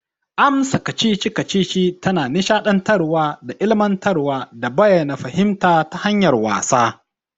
Amsa kacici-kacici tana nisha dantarwa da ilimantarwa da bayyana fahimta ta hanyar wasa.